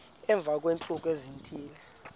emva kweentsuku ezithile